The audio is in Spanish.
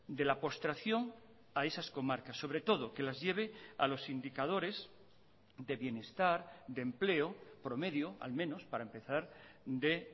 de la postración a esas comarcas sobre todo que las lleve a los sindicadores de bienestar de empleo promedio al menos para empezar de